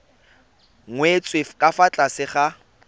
nyetswe ka fa tlase ga